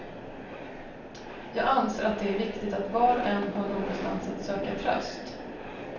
Jag anser att det är viktigt att var och en har någonstans att söka tröst.